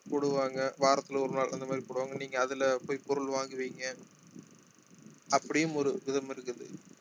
போடுவாங்க வாரத்துல ஒரு நாள் அந்த மாதிரி போடுவாங்க நீங்க அதுல போய் பொருள் வாங்குவீங்க அப்படியும் ஒரு விதம் இருக்குது